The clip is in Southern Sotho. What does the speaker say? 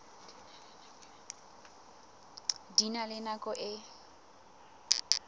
di na le nako e